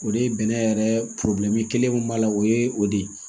O de ye bɛnɛ yɛrɛ kelen min b'a la o ye o de ye